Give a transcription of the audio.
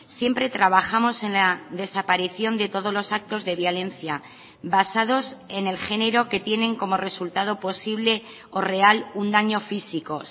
siempre trabajamos en la desaparición de todos los actos de violencia basados en el género que tienen como resultado posible o real un daño físico